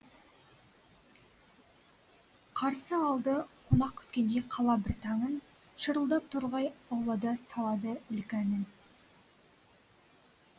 қарсы алды қонақ күткендей қала бір таңын шырылдап торғай аулада салады ілкі әнін